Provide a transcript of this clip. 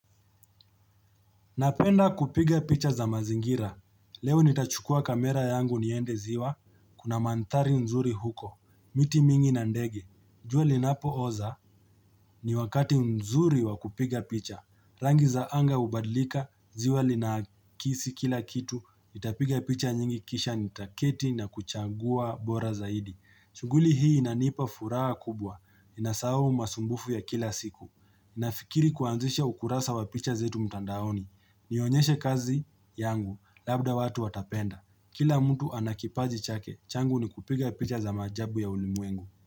Napenda kupiga picha za mazingira. Leo nitachukua kamera yangu niende ziwa, kuna mandhari nzuri huko, miti mingi na ndege. Jua linapooza, ni wakati nzuri wa kupiga picha. Rangi za anga hubadlika, ziwa linaakisi kila kitu, nitapiga picha nyingi kisha nitaketi na kuchagua bora zaidi. Shughuli hii inanipa furaha kubwa, ninasahau masumbufu ya kila siku. Nafikiri kuanzisha ukurasa wa picha zetu mtandaoni, Nionyeshe kazi yangu, labda watu watapenda. Kila mtu ana kipaji chake, changu ni kupiga picha za maajabu ya ulimwengu.